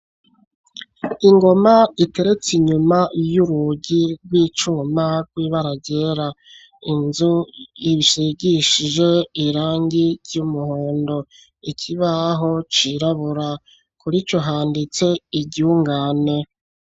Ingoma iteretse inyuma y'urugi rw'icuma rw'ibara ryera. Inzu ishigishije irangi ry'umuhondo ikibaho cirabura, kurico handitse iryungane.